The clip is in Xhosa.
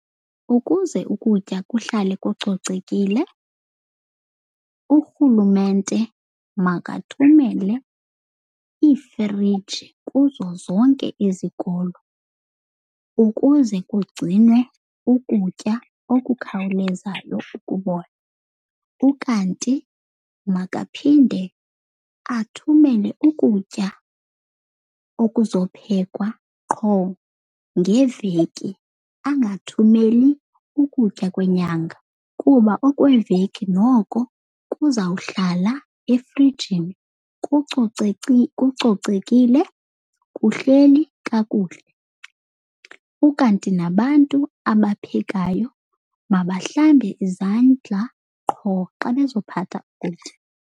Ukuze ukutya kuhlale kucocekile. Urhulumente makathumele iifriji kuzo zonke izikolo ukuze kugcinwe ukutya okukhawulezayo ukubola. Ukanti makaphinde athumele ukutya okuzophekwa qho ngeveki, angathumeli ukutya kwenyanga. Kuba okweveki noko kuzawuhlala efrijini kucocekile kuhleli kakuhle. Ukanti nabantu abaphekayo mabahlambe izandla qho xa bezophatha ukutya.